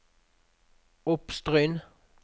Oppstryn